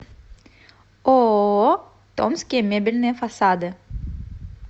ооо томские мебельные фасады